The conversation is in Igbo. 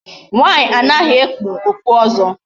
Nwaanyị anaghị ekpu okpu ọzọ.